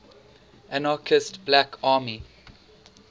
anarchist black army